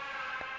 ya go ruta le go